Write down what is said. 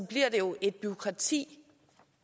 bliver det jo et bureaukrati